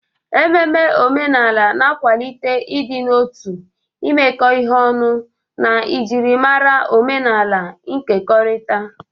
Ememe omenala na-akwalite ịdị n'otu, imekọ ihe ọnụ, na njirimara omenala nkekọrịta.